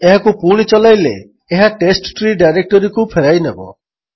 ଏହାକୁ ପୁଣି ଚଲାଇଲେ ଏହା ଟେଷ୍ଟଟ୍ରୀ ଡାଇରେକ୍ଟୋରୀକୁ ଫେରାଇନେବ